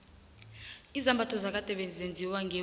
izambatho zakade bezenziwa ngewula